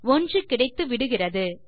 1 கிடைத்துவிடுகிறது